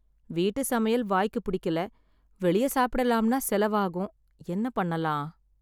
வீட்டு சமையல் வாய்க்கு பிடிக்கல, வெளிய சாப்பிடலாம்னா செலவாகும், என்ன பண்ணலாம்.